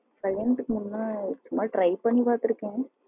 கல்யாணத்துக்கு முன்ன சும்மா try பண்ணி பாத்துருக்கேன்.